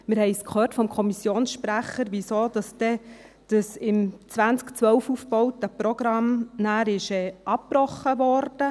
Wir haben vom Kommissionssprecher gehört, weshalb das 2012 aufgebaute Programm abgebrochen wurde.